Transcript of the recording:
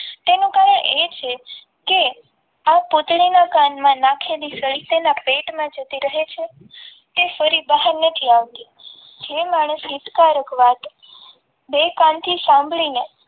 તેનું કારણ એ છે કે આ પૂતળીના કાનમાં નાખેલી સળી તેના પેટમાં જતી રહે છે તે ફરી બહાર નથી આવતી જે માણસ હિતકારક વાત ને